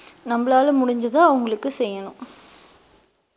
நம்மளால முடிஞ்சதை அவங்களுக்கு செய்யணும்